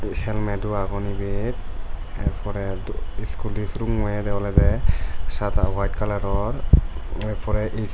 helmet agon ebet er pore scooty surummo oyedey olodey sada white colouror .